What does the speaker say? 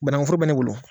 Banangu foro bɛ ne bolo